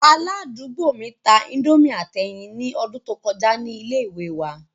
Aladugbo mi ta indomie ati ẹyin ni ọdun to kọja ni ile-iwe wa